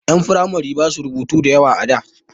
Ƴan firamare basu rubutu da yawa a da.